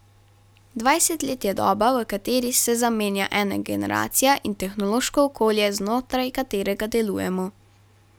Dvajset let je doba, v kateri se zamenja ena generacija in tehnološko okolje, znotraj katerega delujemo.